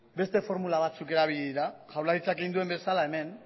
beste formulak erabili dira jaurlaritzak egin duen bezala hemen